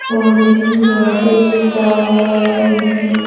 बहुत ही स्वादिष्ट लाल लाल रंग की--